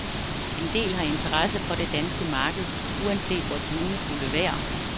En del har interesse for det danske marked, uanset vort lunefulde vejr.